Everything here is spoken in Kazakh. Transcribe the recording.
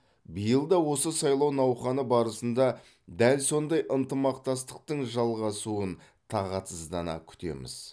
биыл да осы сайлау науқаны барысында дәл сондай ынтымақтастықтың жалғасуын тағатсыздана күтеміз